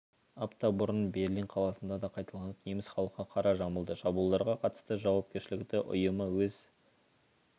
апта бұрын берлин қаласында да қайталанып неміс халқы қара жамылды шабуылдарға қатысты жауапкершілікті ұйымы өз